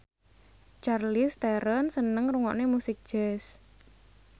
Charlize Theron seneng ngrungokne musik jazz